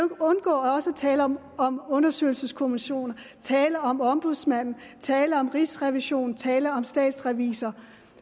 undgå også at tale om om undersøgelseskommissioner tale om ombudsmanden tale om rigsrevisionen tale om statsrevisor